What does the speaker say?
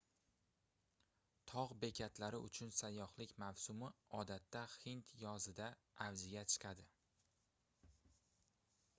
togʻ bekatlari uchun sayyohlik mavsumi odatda hind yozida avjiga chiqadi